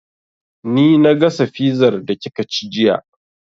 Ni na gasa fizar da kika ci jiya